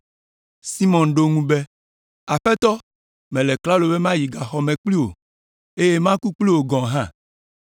Simɔn ɖo eŋu be, “Aƒetɔ, mele klalo be mayi gaxɔ me kpli wò, eye maku kpli wò gɔ̃ hã.”